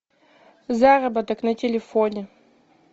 заработок на телефоне